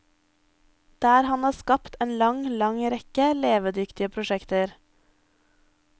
Der han har skapt en lang, lang rekke levedyktige prosjekter.